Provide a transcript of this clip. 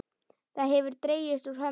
Það hefur dregist úr hömlu.